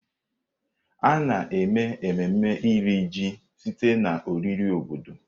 A na-eme ememme Iri Ji site na oriri obodo.